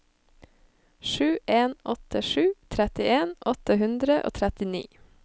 sju en åtte sju trettien åtte hundre og trettini